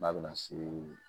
N'a bɛna se